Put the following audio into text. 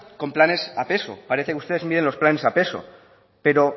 con planes a peso parece que ustedes miden los planes a peso pero